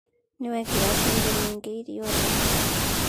Nĩ wekĩra cumbe muingĩ irioni